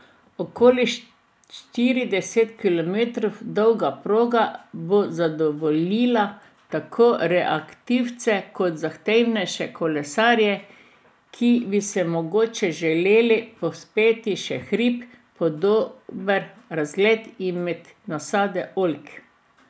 Okoli štirideset kilometrov dolga proga bo zadovoljila tako rekreativce kot zahtevnejše kolesarje, ki se bi se mogoče želeli povzpeti še v hrib, po dober razgled in med nasade oljk.